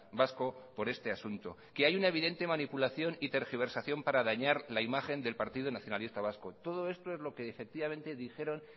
vasco por este asunto que hay una evidente manipulación y tergiversación para dañar la imagen del partido nacionalista vasco todo esto es lo que efectivamente dijeron